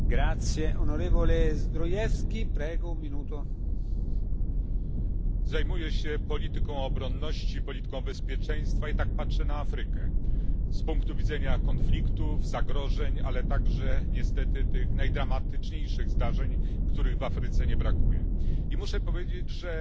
Panie Przewodniczący! Zajmuję się polityką obronności, polityką bezpieczeństwa i tak patrzę na Afrykę z punktu widzenia konfliktów, zagrożeń, ale także niestety tych najdramatyczniejszych zdarzeń, których w Afryce nie brakuje. I muszę powiedzieć, że